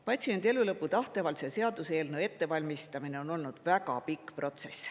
Patsiendi elulõpu tahteavalduse seaduseelnõu ettevalmistamine on olnud väga pikk protsess.